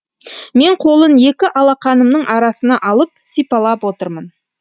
мен қолын екі алақанымның арасына алып сипалап отырмын